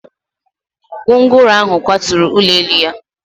Gwongworo ahụ kwaturu ụlọ elu ya